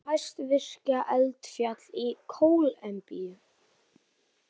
Það er hæsta virka eldfjall í Kólumbíu.